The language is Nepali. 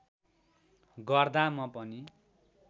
गर्दा म पनि